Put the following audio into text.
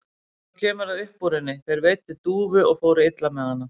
Svo kemur það upp úr henni: Þeir veiddu dúfu og fóru illa með hana.